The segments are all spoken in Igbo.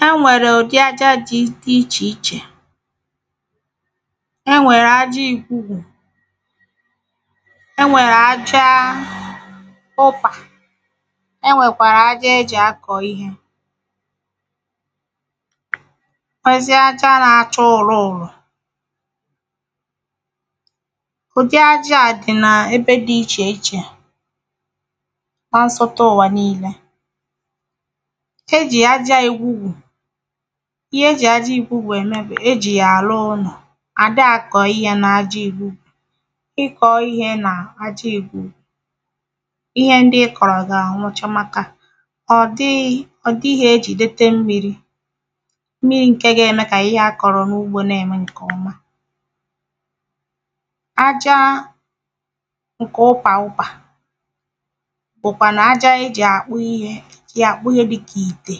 ha ṅwẹ̀rẹ̀ ụ̀dị aja dị̄ ị̄chè ị̄chè ha ṅwẹ̀rẹ̀ aja egwugwù ẹ ṅwẹ̀rẹ̀ aja ọbà ẹ ṅwẹ̀kwàrà aja e jì a kọ ịhẹ̄ ṇwẹzị aja nā-āchā ụ̀lụ ụlụ̀ ụ̀dị aja dị̄ nā ẹbẹ dị̄ ị̄chè ị̄chè asoto ụ̀wà ninẹ̄ e jì aja egwugwù ịhẹ ejị̀ aja ịkwugwù ẹ̀ mẹ bù e jì yà à ru ụnọ̀ ā dahị̄ a kọ̀ ịhẹ̄ na-aja igwugwù ị kọ̀ ịhẹ̄ nā aja ikwugwù ịhẹ ndị ị kọ̀rọ̀ gà ṅwụcha màkà ọ̀dihī e jìdete mmirī mmirì ṅkẹ ga ẹmẹ kà ịhẹ a kọ̀rọ̀ nà ụgbō nā ẹ̀ mẹ ṅkẹ̀ ọma aja ṅkẹ ụpà ụpà bùkwànụ̀ aja ẹ jɪ̣̀ à kpụ ịhẹ jɪ̣̀ à kpụ ịhẹ dịkà ịtè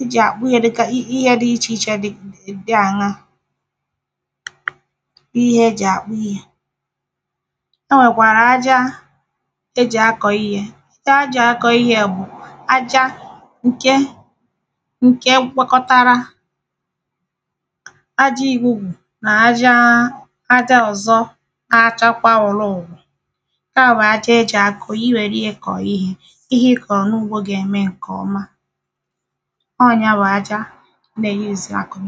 e jɪ̣̀ à kpụ ịhẹ dị̄ ị̄chè ị̄chè dị àṅá bụ ihẹ e jɪ̣̀ à kpụ ịhẹ ẹ ṅwẹ̀kwàrà aja e jì a kọ ịhẹ̄ aja a jị̀ a kọ̀ ịhē bụ̀ aja ṅke ṅkẹ kpākọ̄tārā aja ịgwụgwụ̀ na-aja aja ọ̀zọ́ áchákwá ụ̀lụ ụ̀lụ̀ ṅka bụ̀ aja e jị̀ a kọ̀. Ị wèru yā kọ̀ ịhē ịhẹ ị kọ̀ nà-ụgbō gà ẹ́ mẹ ṅkẹ̀ ọma ọ nya bụ̀ aja ha n'ègị a kọ̀ ịhē